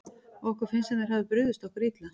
Okkur finnst sem þeir hafi brugðist okkur illa.